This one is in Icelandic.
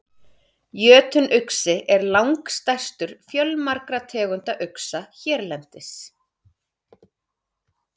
Jötunuxi er langstærstur fjölmargra tegunda uxa hérlendis.